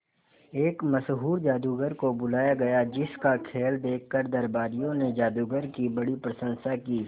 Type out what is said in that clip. एक मशहूर जादूगर को बुलाया गया जिस का खेल देखकर दरबारियों ने जादूगर की बड़ी प्रशंसा की